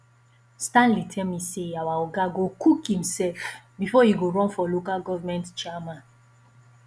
stanley tell me say our oga go cook himself before e go run for local government chairman